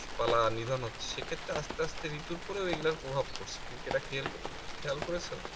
পালা নিধন হচ্ছে সেক্ষেত্রে আসতে আসতে ঋতুর উপরেও এগুলার প্রভাব পড়ছে তুমি কি এটা খেল খেয়াল করেছো